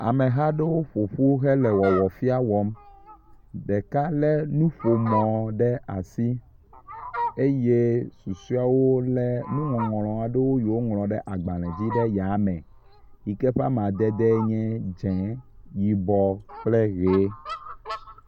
Ameha aɖewo ƒoƒu hele wɔwɔfia wɔm. Ɖeka le nuƒomɔ ɖe asi eye susɔeawo le nuŋɔŋlɔ aɖewo yi woŋlɔ ɖe agbale dzi ɖe yame yi ke ƒe amadede nye dze, yibɔ kple ʋe.